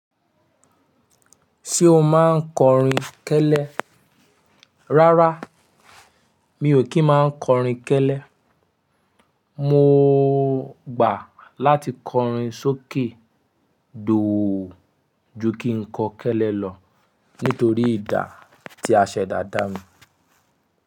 Ṣé o máa ń kọrin kẹ́lẹ́? Rárá, mi ò kí ń má kọrin kẹ́lẹ́. Mo gbà láti kọrin sókè dòò ju kí n kọ kẹ́lẹ́ lọ nítorí ìdà tí àṣẹ dàda mi.